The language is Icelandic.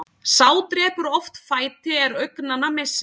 Sá drepur oft fæti er augnanna missir.